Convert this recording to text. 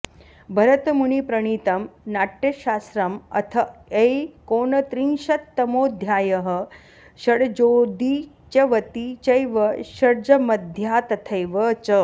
भरतमुनिप्रणीतं नाट्यशास्त्रम् अथ एकोनत्रिंशत्तमोऽध्यायः षड्जोदीच्यवती चैव षड्जमध्या तथैव च